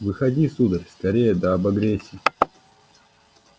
выходи сударь скорее да обогрейся